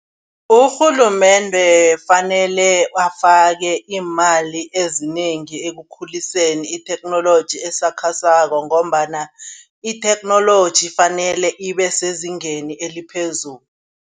Urhulumende kufanele afake iimali ezinengi ekukhuliseni itheknoloji esakhasako ngombana itheknoloji fanele ibe sezingeni eliphezulu.